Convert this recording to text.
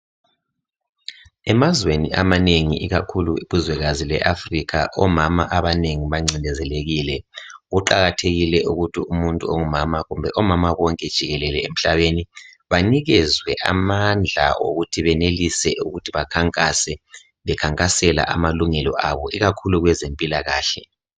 Emazweni amanengi ikakhulu ilizwe leAfrica omama abanengi bancindezelekile, kuqakathekile ukuthi umuntu ongumama kumbe omama bonke jikelele emhlabeni banikezwe amandla okuthi benelise ukuthi bakhankase bekhankasela amalungelo abo ikakhulu kwezempilakahle.